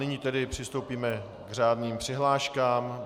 Nyní tedy přistoupíme k řádným přihláškám.